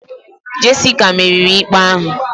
Jessica meriri ikpe ahụ